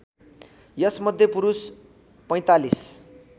यसमध्ये पुरुष ४५